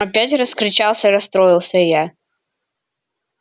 опять раскричался расстроилась я